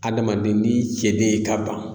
Adamaden n'i cɛ de ye ka ban